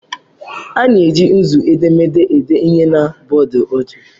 A na-eji nzu edemede ede ihe na bọọdụ ojii.